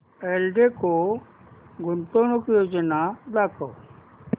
एल्डेको गुंतवणूक योजना दाखव